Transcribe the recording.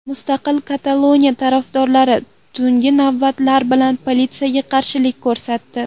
Mustaqil Kataloniya tarafdorlari tungi navbatlar bilan politsiyaga qarshilik ko‘rsatdi.